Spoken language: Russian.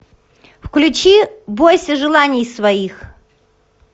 включи бойся желаний своих